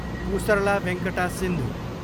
Pusarla Venkata Sindhu